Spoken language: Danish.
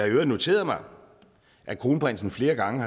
i øvrigt noteret mig at kronprinsen flere gange